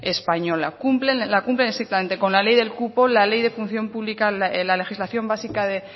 española cumplen estrictamente con la ley del cupo la ley de función pública en la legislación básica